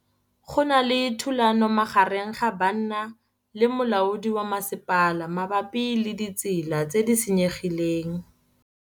Go na le thulanô magareng ga banna le molaodi wa masepala mabapi le ditsela tse di senyegileng.